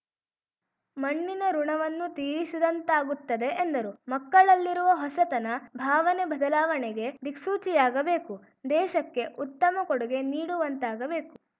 ಮಣ್ಣಿನ ಋುಣವನ್ನು ತೀರಿಸಿದಂತಾಗುತ್ತದೆ ಎಂದರು ಮಕ್ಕಳಲ್ಲಿರುವ ಹೊಸತನ ಭಾವನೆ ಬದಲಾವಣೆಗೆ ದಿಕ್ಸೂಚಿಯಾಗಬೇಕು ದೇಶಕ್ಕೆ ಉತ್ತಮ ಕೊಡುಗೆ ನೀಡುವಂತಾಗಬೇಕು